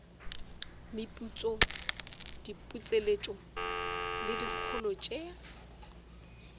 meputso diputseletšo le dikholo tše